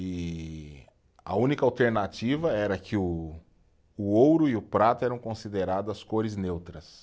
E a única alternativa era que o, o ouro e o prata eram consideradas cores neutras.